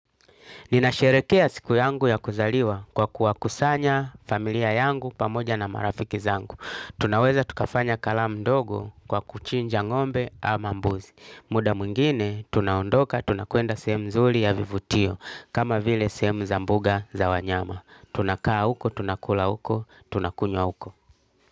Ninasherekea siku yangu ya kuzaliwa kwa kuwa kusanya familia yangu pamoja na marafiki zangu. Tunaweza tukafanya kalam ndogo kwa kuchinja ngombe ama mbuzi. Muda mwingine, tunaondoka, tunakwenda sehemu nzuri ya vivutio kama vile sehemu za mboga za wanyama. Tunakaa uko, tunakula uko, tunakunywa uko.